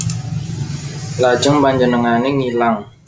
Lajeng panjenengané ngilang